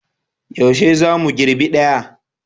Yaushe za mu girbe daya?